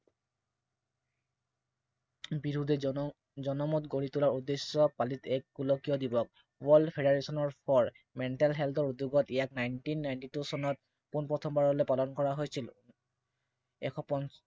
বিৰুদ্ধে জনমত গঢ়ি তোলা উদ্দেশ্য় পালিত এক গোলকীয় দিৱস। World Federation for Mental Health ৰ উদ্য়োগত ইয়াক Nineteen Ninety Two চনত পোন প্ৰথমবাৰলৈ প্ৰদান কৰা হৈছিল এশ পঞ্চাছ